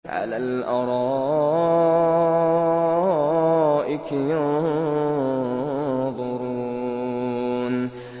عَلَى الْأَرَائِكِ يَنظُرُونَ